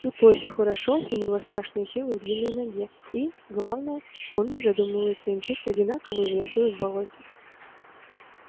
тут лосю хорошо у него страшная сила в длинной ноге и главное он не задумывается и мчится одинаково и в лесу и в болоте